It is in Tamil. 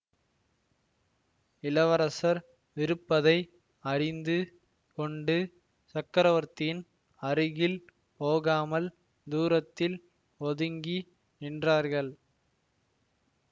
இளவரசர் விருப்பதை அறிந்து கொண்டு சக்கரவர்த்தியின் அருகில் போகாமல் தூரத்தில் ஒதுங்கி நின்றார்கள்